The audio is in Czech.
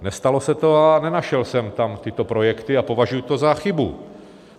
Nestalo se to a nenašel jsem tam tyto projekty a považuji to za chybu.